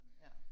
Ja